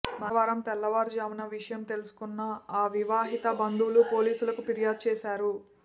మంగళవారం తెల్లవారుజామున విషయం తెలుసుకున్న ఆ వివాహిత బంధువులు పోలీసులకు ఫిర్యాదు చేశారు